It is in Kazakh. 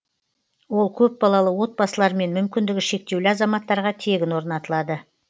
ол көпбалалы отбасылар мен мүмкіндігі шектеулі азаматтарға тегін орнатылады